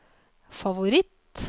favoritt